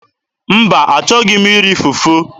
Mba, achọghị m iri fufu.